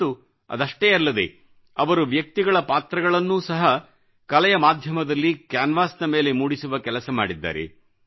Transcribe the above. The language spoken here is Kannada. ಮತ್ತು ಅದಷ್ಟೇ ಅಲ್ಲದೆ ಅವರು ವ್ಯಕ್ತಿಗಳ ಪಾತ್ರಗಳನ್ನೂ ಸಹ ಕಲೆಯ ಮಾಧ್ಯಮದಲ್ಲಿ ಕ್ಯಾನ್ವಾಸಿನ ಮೇಲೆ ಮೂಡಿಸುವ ಕೆಲಸ ಮಾಡಿದ್ದಾರೆ